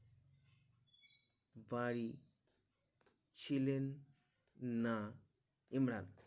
বাড়ি ছিলেন না ইমরান